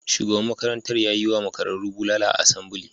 Shugaban makarantar ya yi wa makararru bulala a asambili.